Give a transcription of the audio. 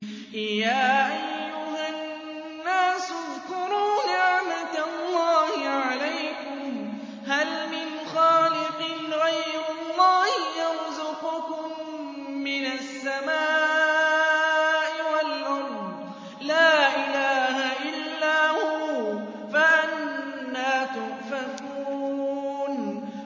يَا أَيُّهَا النَّاسُ اذْكُرُوا نِعْمَتَ اللَّهِ عَلَيْكُمْ ۚ هَلْ مِنْ خَالِقٍ غَيْرُ اللَّهِ يَرْزُقُكُم مِّنَ السَّمَاءِ وَالْأَرْضِ ۚ لَا إِلَٰهَ إِلَّا هُوَ ۖ فَأَنَّىٰ تُؤْفَكُونَ